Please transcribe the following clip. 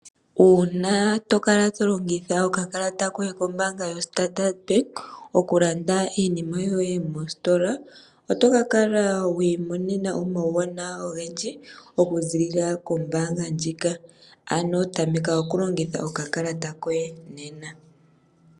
Uuna tokala tolongitha okakalata koye kombaanga yo Standard bank oku landa iinima yoye mostola, otokala wi imonena omawu wanawa ogendji oku ziilila koombaanga ndjika. Ano tameka oku longitha oka kalata koye nena.